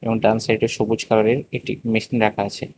এবং ডান সাইডে সবুজ কালারের একটি মেশিন রাখা আছে।